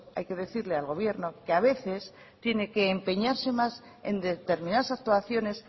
hay que decirle al gobierno que a veces tiene que empeñarse más en determinadas actuaciones